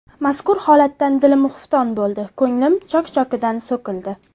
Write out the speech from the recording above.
Mazkur holatdan dilim xufton bo‘ldi, ko‘nglim chok-chokidan so‘kildi.